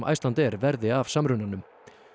Icelandair verði af samrunanum